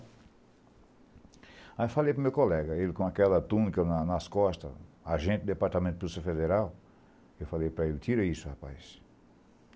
Aí eu falei para o meu colega, ele com aquela túnica na nas costas, agente do Departamento de Polícia Federal, eu falei para ele, tira isso, rapaz.